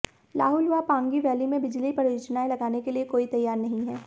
लाहुल व पांगी वैली में बिजली परियोजनाएं लगाने के लिए कोई तैयार नहीं है